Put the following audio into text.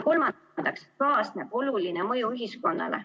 Kolmandaks, kaasneb oluline mõju ühiskonnale.